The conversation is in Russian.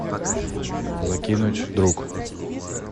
закинуть друг